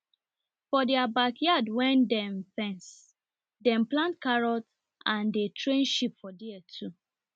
for their backyard wen den fense dem plant carrot and dey train sheep for there too